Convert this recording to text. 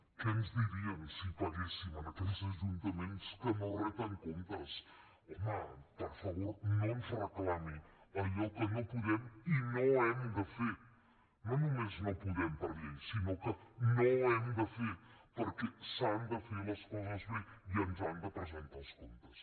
què ens dirien si paguéssim a aquells ajuntaments que no reten comptes home per favor no ens reclami allò que no podem i no hem de fer no només no podem per llei sinó que no hem de fer perquè s’han de fer les coses bé i ens han de presentar els comptes